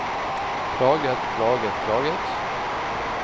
plaget plaget plaget